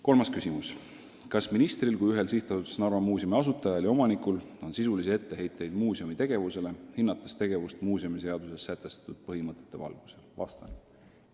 Kolmas küsimus: "Kas ministril kui ühel SA Narva Muuseum asutajal ja omanikul on sisulisi etteheiteid muuseumi tegevusele, hinnates tegevust muuseumiseaduses sätestatud põhimõtete valgusel?